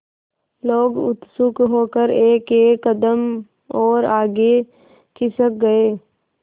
लोग उत्सुक होकर एकएक कदम और आगे खिसक गए